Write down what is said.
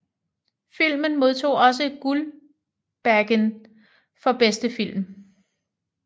Filmen modtog også Guldbaggen for bedste film